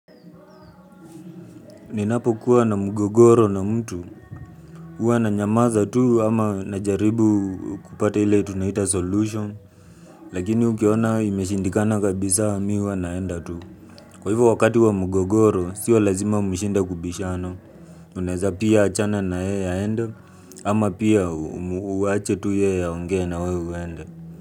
Ninapokuwa na mgogoro na mtu. Huwa nanyamaza tu ama najaribu kupata ile tunaita solution. Lakini ukiona imeshindikana kabisa mi huwa naenda tu. Kwa hivyo wakati wa mgogoro, sio lazima mshinde kubishana. Tunaeza pia achana na yeye aenda, ama pia uache tu yeye aongee na wewe uende.